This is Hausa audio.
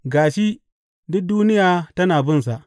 Ga shi, duk duniya tana bin sa!